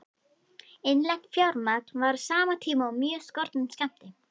Innlent fjármagn var á sama tíma af mjög skornum skammti.